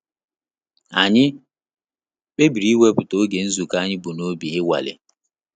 Anyị kpebiri iweputa oge nzukọ anyị bụ n'obi inwale